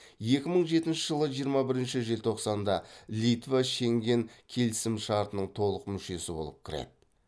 екі мың жетінші жылы жиырма бірінші желтоқсанда литва шенген келісімшартының толық мүшесі болып кіреді